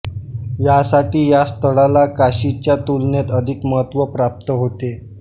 यासाठी या स्थळाला काशीच्या तुलनेत अधिक महत्त्व प्राप्त होते